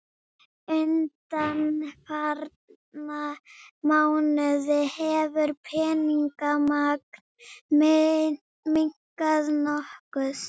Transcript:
Undanfarna mánuði hefur peningamagn minnkað nokkuð